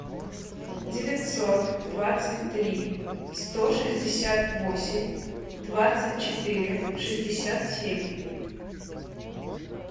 девятьсот двадцать три сто шестьдесят восемь двадцать четыре шестьдесят семь